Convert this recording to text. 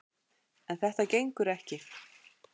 En þetta gengur ekki!